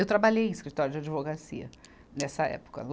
Eu trabalhei em escritório de advocacia nessa época.